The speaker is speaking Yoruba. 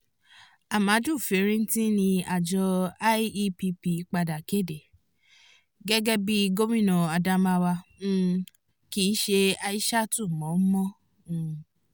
amadu fintiri ni àjọ iepp padà kéde gẹ́gẹ́ bí i gómìnà adamawa um kìí ṣe aishatu mọ́ mọ́ um